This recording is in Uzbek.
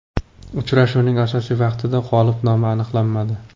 Uchrashuvning asosiy vaqtida g‘olib nomi aniqlanmadi.